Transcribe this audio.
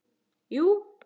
Jú